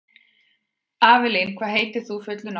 Avelín, hvað heitir þú fullu nafni?